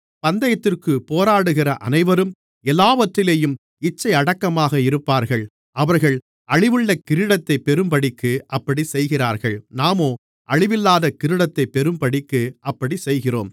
பந்தயத்திற்குப் போராடுகிற அனைவரும் எல்லாவற்றிலேயும் இச்சையடக்கமாக இருப்பார்கள் அவர்கள் அழிவுள்ள கிரீடத்தைப் பெறும்படிக்கு அப்படிச் செய்கிறார்கள் நாமோ அழிவில்லாத கிரீடத்தைப் பெறும்படிக்கு அப்படிச் செய்கிறோம்